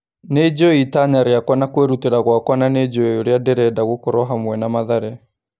Nĩnjũĩ itanya rĩakwa na kwĩrutĩra gwakwa na nĩnjũĩ ũrĩa ndĩrenda gũkorwo hamwe na Mathare.